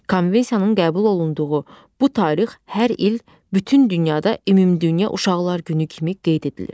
Konvensiyanın qəbul olunduğu bu tarix hər il bütün dünyada ümumdünya Uşaqlar Günü kimi qeyd edilir.